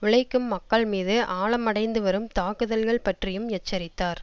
உழைக்கும் மக்கள் மீது ஆழமடைந்துவரும் தாக்குதல்கள் பற்றியும் எச்சரித்தார்